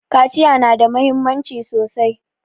Kaciya na da muhimmanci sosai